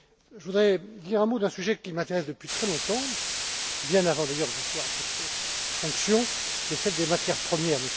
texte. Je voudrais dire un mot d'un sujet qui m'intéresse depuis très longtemps, bien avant d'ailleurs que j'exerce cette fonction celle des matières premières.